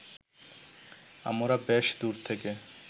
আমরা বেশ দূর থেকে